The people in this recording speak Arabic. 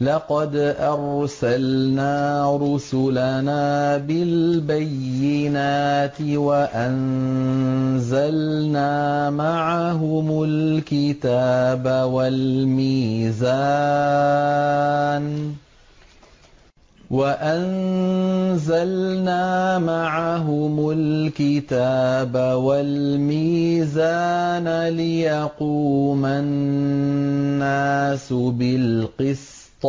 لَقَدْ أَرْسَلْنَا رُسُلَنَا بِالْبَيِّنَاتِ وَأَنزَلْنَا مَعَهُمُ الْكِتَابَ وَالْمِيزَانَ لِيَقُومَ النَّاسُ بِالْقِسْطِ ۖ